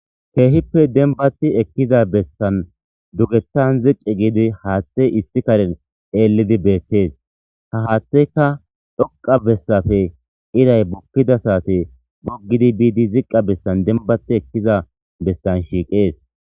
Keehippe denbati ekkiza bessan dugethan ziqi giidi haaththe issi karen eellidi beettees ta haatteka dhoqa bessafe iray bukkida saate boggidi biidi ziqqa bessan denbati ekkiza bessan shiiqees.